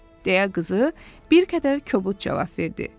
Deyə qızı bir qədər kobud cavab verdi.